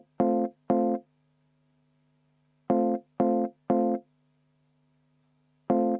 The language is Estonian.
Vaheaeg 10 minutit.